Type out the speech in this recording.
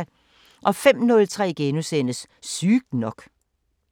05:03: Sygt nok *